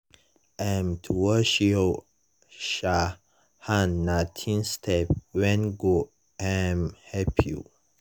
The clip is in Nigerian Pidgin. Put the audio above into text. um to wash your um hand nah tiny step when go um help you.